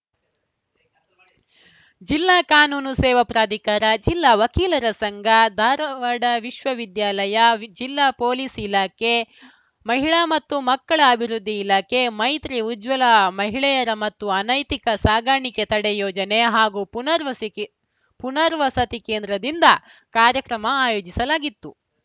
ಜಿಲ್ಲಾ ಕಾನೂನು ಸೇವಾ ಪ್ರಾಧಿಕಾರ ಜಿಲ್ಲಾ ವಕೀಲರ ಸಂಘ ಧಾರವಾಡ ವಿಶ್ವವಿದ್ಯಾಲಯ ಜಿಲ್ಲಾ ಪೊಲೀಸ್‌ ಇಲಾಖೆ ಮಹಿಳಾ ಮತ್ತು ಮಕ್ಕಳ ಅಭಿವೃದ್ಧಿ ಇಲಾಖೆ ಮೈತ್ರಿ ಉಜ್ವಲ ಮಹಿಳೆಯರ ಮತ್ತು ಅನೈತಿಕ ಸಾಗಾಣಿಕೆ ತಡೆ ಯೋಜನೆ ಹಾಗೂ ಪುನರ್ವಸಕೆ ಪುನರ್ವಸತಿ ಕೇಂದ್ರದಿಂದ ಕಾರ್ಯಕ್ರಮ ಆಯೋಜಿಸಲಾಗಿತ್ತು